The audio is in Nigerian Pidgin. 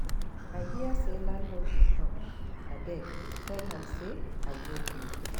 I hear say landlord dey come abeg tell am say I no dey